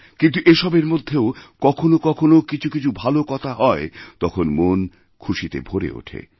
কিন্তু এসবের মধ্যেও কখনো কখনো কিছু কিছু ভালো কথা হয় তখন মন খুশিতে ভরেওঠে